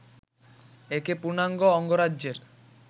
একে পূর্ণাঙ্গ অঙ্গরাজ্যের